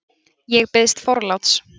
Ég bið forláts!